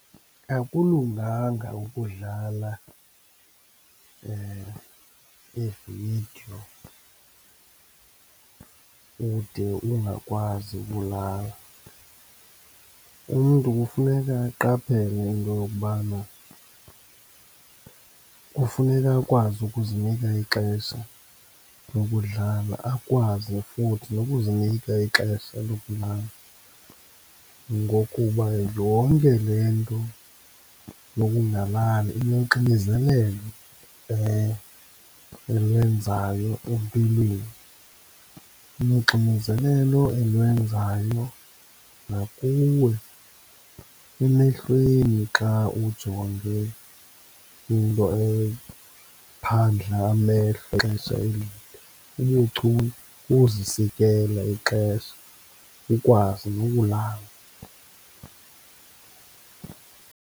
Akulunganga ukudlala iividiyo ude ungakwazi ukulala. Umntu kufuneka aqaphele into yokubana kufuneka akwazi ukuzinika ixesha lokudlala, akwazi futhi nokuzinika ixesha lokulala, ngokuba yonke le nto yokungalali inoxinzelelo elwenzayo empilweni, inoxinzelelo elwenzayo nakuwe emehlweni xa ujonge into ephandla amehlo ixesha elide. Ubuchule kukuzisikela ixesha, ukwazi nokulala.